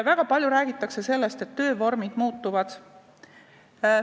Väga palju räägitakse sellest, et töövormid muutuvad.